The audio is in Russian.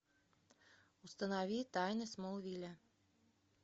установи тайны смолвиля